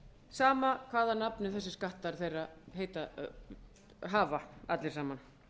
sama hvað nafn þessir skattar þeirra hafa allir saman